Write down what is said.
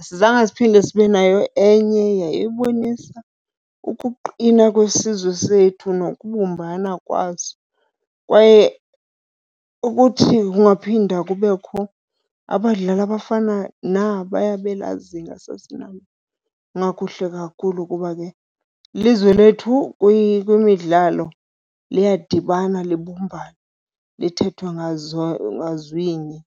asizange siphinde sibe nayo enye. Yayibonisa ukuqina kwesizwe sethu nokubumbana kwaso. Kwaye ukuthi kungaphinda kubekho abadlali abafana nabaya belaa zinga sasinalo kungakuhle kakhulu, kuba ke ilizwe lethu kwimidlalo liyadibana libumbane lithethe ngazwinye.